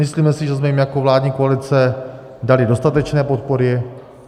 Myslíme si, že jsme jim jako vládní koalice dali dostatečné podpory